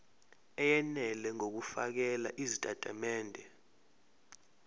eyenele ngokufakela izitatimende